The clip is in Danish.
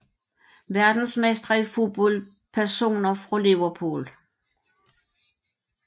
Verdensmestre i fodbold Personer fra Liverpool